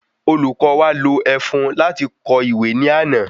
Olùkó wa lo ẹfun lati fi kọ ìwé ní àná